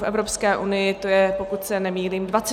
V Evropské unii to je, pokud se nemýlím, 24 států.